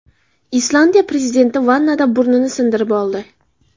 Islandiya prezidenti vannada burnini sindirib oldi.